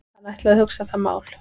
Hann ætlaði að hugsa það mál.